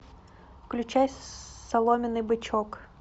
включай соломенный бычок